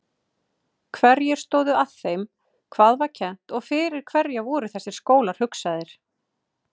Hverjir stóðu að þeim hvað var kennt og fyrir hverja voru þessir skólar hugsaðir?